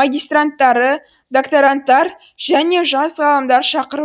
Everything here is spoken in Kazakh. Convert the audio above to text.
магистранттары докторанттар және жас ғалымдар шақырыл